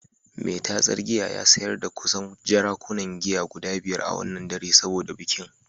Matasar giya ya sayar da kusan jerakuna giya guda biyar a wannan dare saboda bikin.